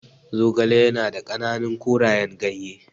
Zogale ya na da ƙananan korayen ganye.